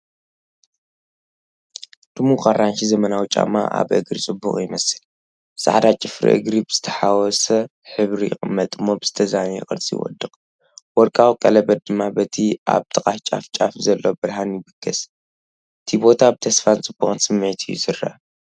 ድሙቕ ኣራንሺ ዘመናዊ ጫማ ኣብ እግሪ ጽቡቕ ይመስል። ጻዕዳ ጽፍሪ እግሪ ብዝተሓዋወሰ ሕብሪ ይቕመጥ እሞ ብዝተዛነየ ቅርጺ ይወድቕ፣ ወርቃዊ ቀለቤት ድማ በቲ ኣብ ጥቓ ጫፍ ጫፍ ዘሎ ብርሃን ይብገስ። ቲ ቦታ ብተስፋን ጽቡቕን ስምዒት እዩ ዝረአ።